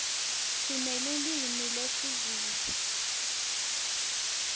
sinelulwimi lezulu